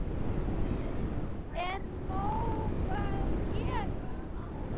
Er nóg að gert?